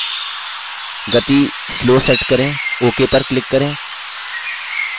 गति slow set करें ok पर click करें